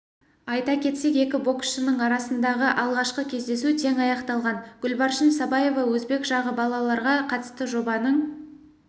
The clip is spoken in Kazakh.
айта кетсек екі боксшының арасындағы алғашқы кездесу тең аяқталған гүлбаршын сабаева өзбек жағы балаларға қатысты жобаның